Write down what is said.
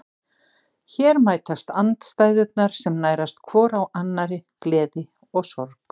Hér mætast andstæðurnar sem nærast hvor á annarri, gleði og sorg.